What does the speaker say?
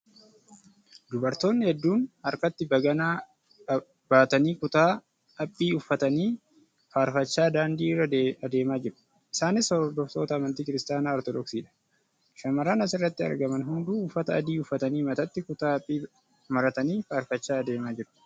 Dubartoonni hedduun harkatti baganaa baatanii kutaa haphii uffatanii faarfachaa daandii irra adeemaa jiru. Isaanis hordoftoota amantii Kiristaanaa Ortoodooksiidha. Shamarran asirratti argaman hunduu uffata adii uffatanii mataatti kutaa haphii maratanii faarfachaa adeemaa jiru.